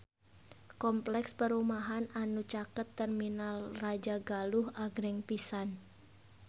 Kompleks perumahan anu caket Terminal Rajagaluh agreng pisan